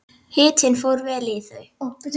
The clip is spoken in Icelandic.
Hitinn fór vel í þau.